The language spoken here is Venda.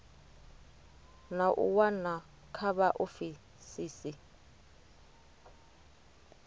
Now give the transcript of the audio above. na u wana kha vhaoisisi